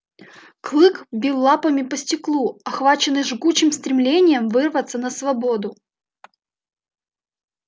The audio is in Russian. клык бил лапами по стеклу охваченный жгучим стремлением вырваться на свободу